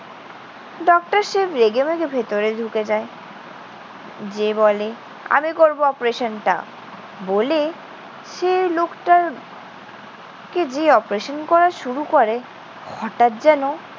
Doctor Shiv রেগেমেগে ভেতরে ঢুকে যায়। গিয়ে বলে, আমি করব operation টা। বলে সে লোকটার কে গিয়ে operation করা শুরু করে হঠাৎ যেন